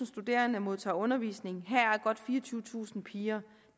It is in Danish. studerende modtager undervisning heraf godt fireogtyvetusind piger